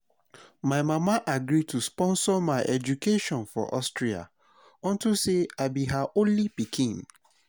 my mama agree to sponsor my education for austria unto say i be her only pikin